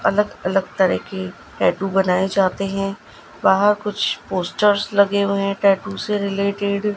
अलग अलग तरह की टैटू बनाए जाते हैं वहां कुछ पोस्टर्स लगे हुए है टैटू से रिलेटेड ।